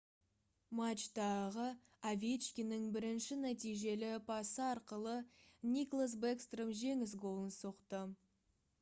матчтағы овечкиннің бірінші нәтижелі пасы арқылы никлас бэкстром жеңіс голын соқты